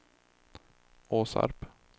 Åsarp